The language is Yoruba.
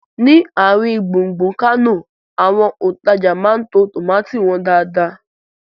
Ni àrin gbùngbùn Kánò, àwọn òntajà máa ń to tómátì wọn dáadáa